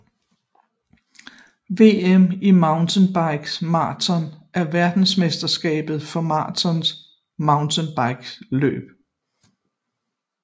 VM i mountainbike maraton er verdensmesterskabet for maraton mountainbikeløb